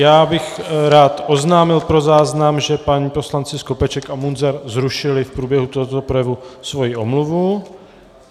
Já bych rád oznámil pro záznam, že páni poslanci Skopeček a Munzar zrušili v průběhu tohoto projevu svoji omluvu.